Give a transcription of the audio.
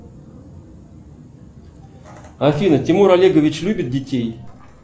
афина тимур олегович любит детей